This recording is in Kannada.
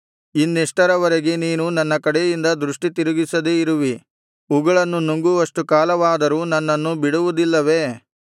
ಇನ್ನೆಷ್ಟರವರೆಗೆ ನೀನು ನನ್ನ ಕಡೆಯಿಂದ ದೃಷ್ಟಿ ತಿರುಗಿಸದೆ ಇರುವಿ ಉಗುಳನ್ನು ನುಂಗುವಷ್ಟು ಕಾಲವಾದರೂ ನನ್ನನ್ನು ಬಿಡುವುದಿಲ್ಲವೇ